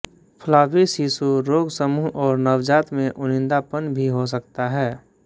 floppy शिशु रोगसमूह और नवजात में उनींदापन भी हो सकता है